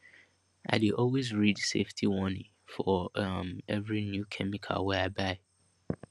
i dey always read safety warning for um every new chemical wey i buy